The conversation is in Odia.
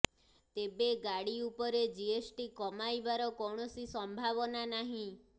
ତେବେ ଗାଡ଼ି ଉପରେ ଜିଏସ୍ଟି କମାଇବାର କୌଣସି ସମ୍ଭାବନା ନାହିଁ